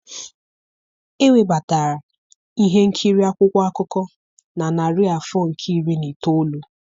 Ewebata ihe nkiri akwụkwọ akụkọ na narị afọ nke iri na itoolu.